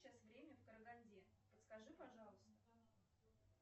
сейчас время в караганде подскажи пожалуйста